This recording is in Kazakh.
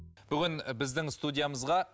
бүгін біздің студиямызға